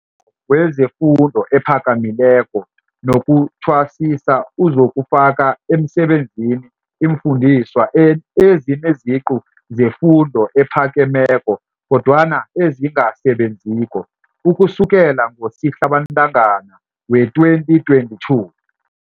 wezeFundo ePhakemeko nokuThwasisa uzokufaka emsebenzini iimfundiswa ezineziqu zefundo ephakemeko kodwana ezingasebenziko, ukusukela ngoSihlabantangana wee-2022.